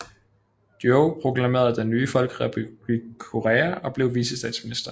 Yoh proklamerede den nye folkerepublik Korea og blev vicestatsminister